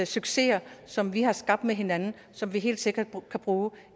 succeser som vi har skabt med hinanden som vi helt sikkert kan bruge